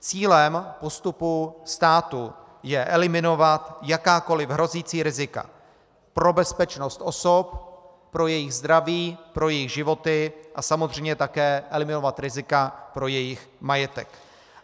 Cílem postupu státu je eliminovat jakákoliv hrozící rizika pro bezpečnost osob, pro jejich zdraví, pro jejich životy a samozřejmě také eliminovat rizika pro jejich majetek.